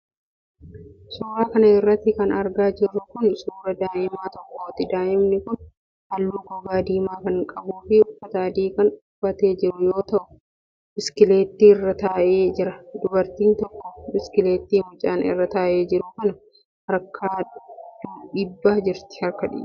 Suura kana irratti kan argaa jirru kun, suura daa'ima tokkooti. Daa'imni kun, haalluu gogaa diimaa kan qabuu fi uffata adii kan uffatee jiru yoo ta'u, biskileettii irra taa'ee jira. Dubartiin tokko, biskileettii mucaan irra taa'ee jiru kana harkaan dhiibaa jirti.